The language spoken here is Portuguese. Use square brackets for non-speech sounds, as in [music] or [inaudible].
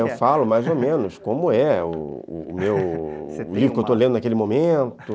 É, eu falo mais ou menos [laughs] como é o livro que eu estou lendo naquele momento.